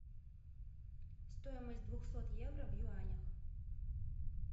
стоимость двухсот евро в юанях